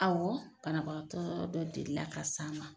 Ɔwɔ banabagatɔ dɔ delila ka s'an ma.